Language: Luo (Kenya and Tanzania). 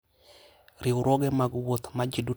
Riwruoge mag wuoth ma ji duto tiyogo medo bedo machiegni.